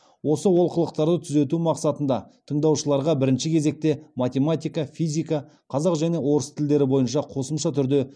осы олқылықтарды түзету мақсатында тыңдаушыларға бірінші кезекте математика физика қазақ және орыс тілдері бойынша қосымша түрде